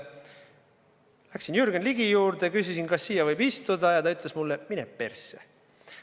Läksin Jürgen Ligi juurde ja küsisin, kas siia võib istuda, ja ta ütles mulle: "Mine persse.